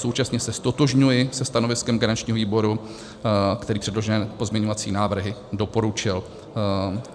Současně se ztotožňuji se stanoviskem garančního výboru, který předložené pozměňovací návrhy doporučil.